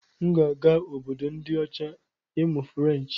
M ga-aga Obodo ndi ocha ịmụ Ferenchi.